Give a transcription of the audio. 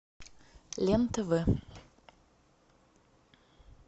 лен тв